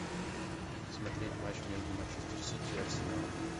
смотреть матч между манчестер сити и арсеналом